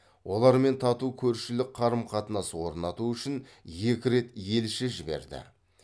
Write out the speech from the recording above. олармен тату көршілік қарым қатынас орнату үшін екі рет елші жіберді